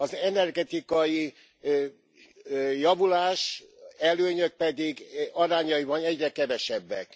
Az energetikai javulás, előnyök pedig arányaiban egyre kevesebbek.